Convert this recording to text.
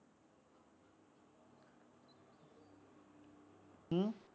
ਹਮ